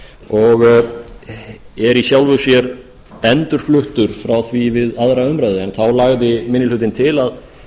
og er í sjálfu sér endurfluttur frá því við aðra umræðu en þá lagði minni hlutinn til að